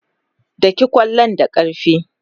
Daki ƙwallon da ƙarfi!